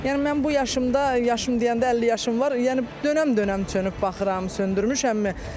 Yəni mən bu yaşımda, yaşım deyəndə 50 yaşım var, yəni dönəm-dönəm çönüb baxıram, söndürmüşəmmi?